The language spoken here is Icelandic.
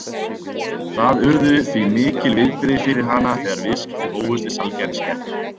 Það urðu því mikil viðbrigði fyrir hana þegar viðskipti hófust við sælgætisgerðina